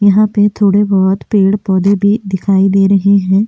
यहां पर थोड़े बहुत पेड़-पौधे भी दिखाई दे रहे हैं।